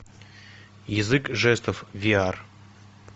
язык жестов виар